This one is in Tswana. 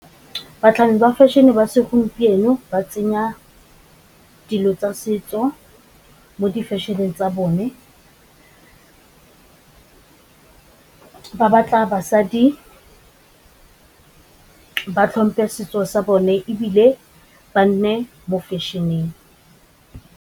Batlhami ba fashion-e ba segompieno ba tsenya dilo tsa setso mo di-fashion-eng tsa bone, ba batla basadi ba tlhompe setso sa bone ebile ba nne mo fashion-eng.